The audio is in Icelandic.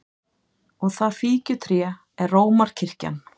Og það fíkjutré er Rómarkirkjan!